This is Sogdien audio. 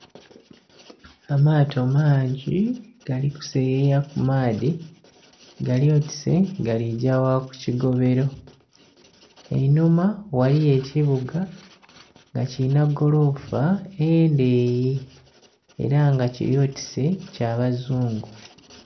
Amaato mangi gali kuseyeya ku maadhi, gali oti se galigya ku kigobelo einhuma ghaliyo ekibuga nga kilinha golofa endeeyi ela nga kili oti se kya bazungu.